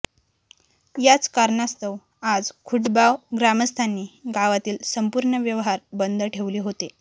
याच कारणास्तव आज खुटबाव ग्रामस्थांनी गावातील संपूर्ण व्यवहार बंद ठेवले होते